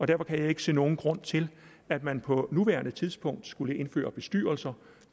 derfor kan jeg ikke se nogen grund til at man på nuværende tidspunkt skulle indføre bestyrelser